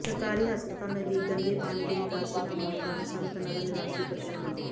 ਸਰਕਾਰੀ ਹਸਪਤਾਲ ਨਜ਼ਦੀਕ ਗੰਦੇ ਪਾਣੀ ਦੀ ਨਿਕਾਸੀ ਨਾ ਹੋਣ ਕਾਰਨ ਸੰਤ ਨਗਰ ਨਿਵਾਸੀ ਪ੍ਰੇਸ਼ਾਨ